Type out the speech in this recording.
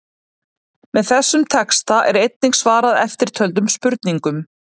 Með þessum texta er einnig svarað eftirtöldum spurningum: